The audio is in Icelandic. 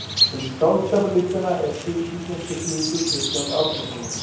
Um skáldskaparlistina er til í íslenskri þýðingu Kristjáns Árnasonar.